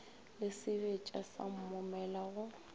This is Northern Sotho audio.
le sebetša sa moomela go